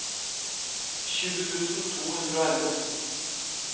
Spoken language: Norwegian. tjue tusen to hundre og elleve